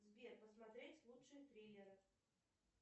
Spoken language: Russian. сбер посмотреть лучшие триллеры